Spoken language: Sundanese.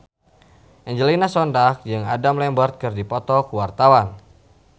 Angelina Sondakh jeung Adam Lambert keur dipoto ku wartawan